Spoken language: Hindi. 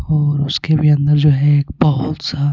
और उसके भी अंदर जो है एक बहुत सा.